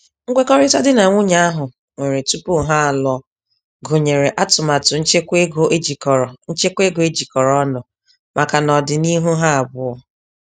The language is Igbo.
Nkwekọrịta di na nwunye ahụ nwere tupu ha alụọ gụnyere atụmatụ nchekwaego ejikọrọ nchekwaego ejikọrọ ọnụ maka n'ọdịniihu ha abụọ.